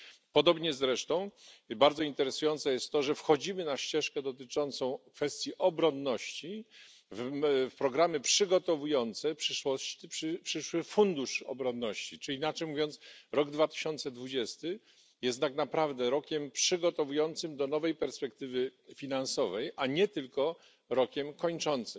Podobnie zresztą bardzo interesujące jest to, że wchodzimy na ścieżkę dotyczącą kwestii obronności w programy przygotowujące przyszły fundusz obronności, czyli inaczej mówiąc rok 2020 jest tak naprawdę rokiem przygotowującym do nowej perspektywy finansowej, a nie tylko rokiem kończącym.